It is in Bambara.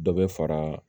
Dɔ bɛ fara